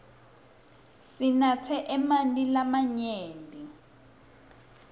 sinatse emanti lamanyenti